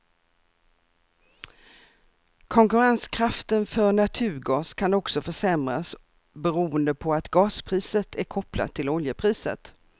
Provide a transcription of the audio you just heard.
Konkurrenskraften för naturgas kan också försämras beroende på att gaspriset är kopplat till oljepriset.